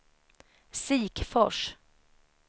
Sikfors